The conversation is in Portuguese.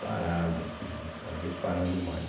Parado assim, cada vez parando mais.